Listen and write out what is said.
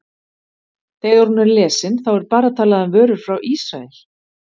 Þegar hún er lesin, þá er bara talað um vörur frá Ísrael?